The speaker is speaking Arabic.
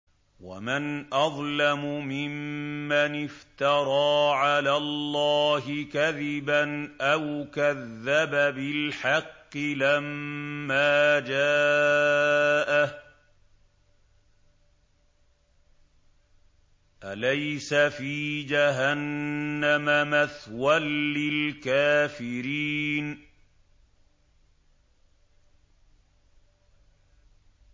وَمَنْ أَظْلَمُ مِمَّنِ افْتَرَىٰ عَلَى اللَّهِ كَذِبًا أَوْ كَذَّبَ بِالْحَقِّ لَمَّا جَاءَهُ ۚ أَلَيْسَ فِي جَهَنَّمَ مَثْوًى لِّلْكَافِرِينَ